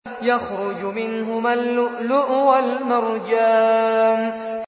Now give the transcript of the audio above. يَخْرُجُ مِنْهُمَا اللُّؤْلُؤُ وَالْمَرْجَانُ